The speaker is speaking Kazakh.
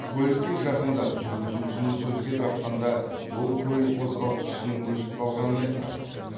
көлікке жақындап жүргізушіні сөзге тартқанда ол көлік қозғалтқышының өшіп қалғанын айтқан